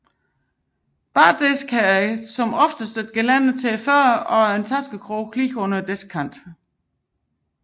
Bardiske har ofte et gelænder til fødderne og taskekroge lige under diskkanten